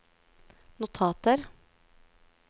notater